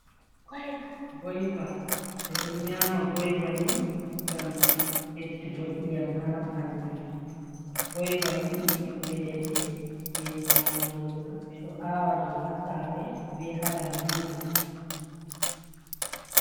Goyva ɓe ɗon nyama goyvani ngam beddu go e'yam ha bandu goyva ni ɗum bibbe ledde je nyamoto dum ɓe ɗo awa ɗum ha sare be ha lambuji.